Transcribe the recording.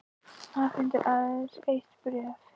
Afhendir aðeins eitt bréf